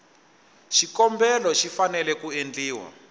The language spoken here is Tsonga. xikombelo xi fanele ku endliwa